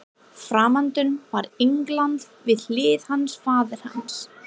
Framundan var England, við hlið hans faðir hans